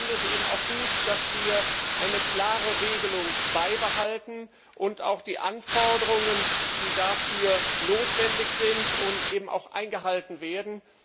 Ich finde es aber auch gut, dass wir eine klare Regelung beibehalten und die Anforderungen, die dafür notwendig sind, auch eingehalten werden.